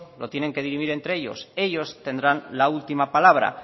lo tienen que dirimir entre ellos ellos tendrán la última palabra